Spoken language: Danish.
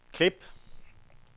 klip